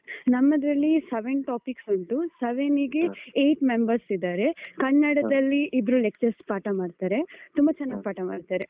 ನಮ್ಮದರಲ್ಲಿ seven topics ಉಂಟು seven ಗೆ eight members ಇದ್ದಾರೆ. ಕನ್ನಡದಲ್ಲಿ ಇಬ್ರು lectures ಪಾಠ ಮಾಡ್ತಾರೆ. ತುಂಬಾ ಚೆನ್ನಾಗ್ ಪಾಠ ಮಾಡ್ತಾರೆ.